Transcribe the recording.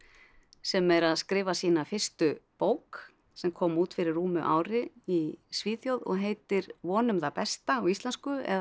sem er að skrifa sína fyrstu bók sem kom út fyrir rúmu ári í Svíþjóð og heitir vonum það besta á íslensku eða